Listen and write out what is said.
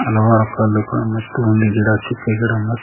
ಹಲವಾರು ಕಲ್ಲುಗಳು ಮತ್ತು ಒಂದು ಗಿಡ ಚಿಕ್ಕ ಗಿಡ ಮತ್--